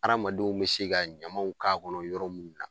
Hadamadenw be se ka ɲamanw k'a kɔnɔ yɔrɔ mun na